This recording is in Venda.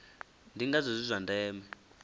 ndi ngazwo zwi zwa ndeme